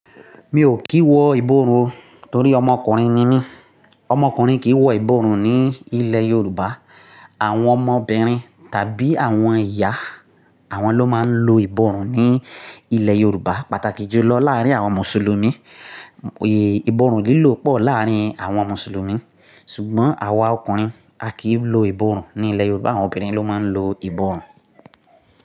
Mi ò kí wọ ìbọrùn torí ọmọkùnrin ni mí. Ọmọkùnrin kì í wọ ìbọrùn ní ilẹ̀ Yorùbá. Àwọn ọmọbìnrin tàbí àwọn ìyá, àwọn ló máa ń lo ìbọrùn ní ilẹ̀ Yorùbá, pàtàkì jùlọ láàárín àwọn Mùsùlùmí. Ìbọrùn lílò pọ̀ láàárín àwọn Mùsùlùmí. Ṣùgbọ́n àwa ọkùnrin, a kì í lo ìbọrùn ní ilẹ̀ Yorùbá. Àwọn obìnrin ló máa ń lo ìbọrùn.